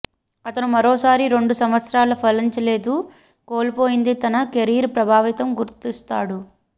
అతను మరోసారి రెండు సంవత్సరాలు ఫలించలేదు కోల్పోయింది తన కెరీర్ ప్రభావితం గుర్తిస్తాడు